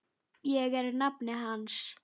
Ég er nafni hans.